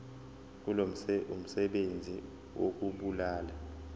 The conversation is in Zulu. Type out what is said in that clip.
kuzo umsebenzi wokubulala